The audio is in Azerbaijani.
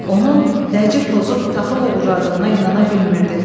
Onun dəci pozub taxıl oğurladığına inana bilmirdi.